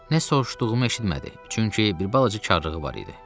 Nə soruşduğumu eşitmədi, çünki bir balaca karlığı var idi.